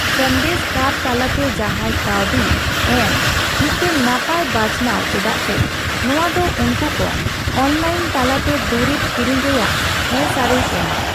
ᱥᱟᱸᱫᱮᱥ ᱠᱟᱨᱰ ᱛᱟᱞᱟᱛᱮ ᱡᱟᱦᱟᱸᱭ ᱠᱟᱹᱣᱰᱤ ᱮᱢ ᱢᱤᱫᱴᱟᱝ ᱱᱟᱯᱟᱭ ᱵᱟᱪᱷᱱᱟᱣ ᱪᱮᱫᱟᱜ ᱥᱮ ᱱᱚᱣᱟ ᱫᱚ ᱩᱱᱠᱩ ᱠᱚ ᱚᱱᱞᱟᱭᱤᱱ ᱛᱟᱞᱟ ᱛᱮ ᱫᱩᱨᱤᱵᱽ ᱠᱤᱨᱤᱧ ᱨᱮᱭᱟᱜ ᱦᱮ ᱥᱟᱹᱨᱤᱭ ᱮᱢᱟ ᱾